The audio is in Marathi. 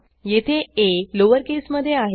येथे आ लोअरकेसमधे आहे